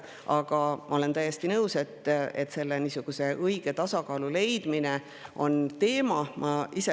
Aga ma olen täiesti nõus, et õige tasakaalu leidmine on teema.